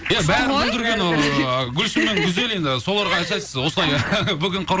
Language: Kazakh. иә бәрін бүлдірген ыыы гүлсім мен гүзел енді соларға айтасыз осылай бүгін